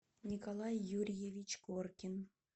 николай юрьевич коркин